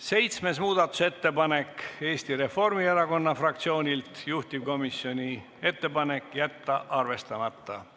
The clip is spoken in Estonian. Seitsmes muudatusettepanek on Eesti Reformierakonna fraktsioonilt, juhtivkomisjoni ettepanek: jätta arvestamata.